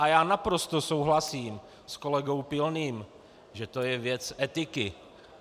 A já naprosto souhlasím s kolegou Pilným, že to je věc etiky.